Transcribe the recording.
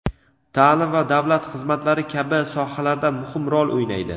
ta’lim va davlat xizmatlari kabi sohalarda muhim rol o‘ynaydi.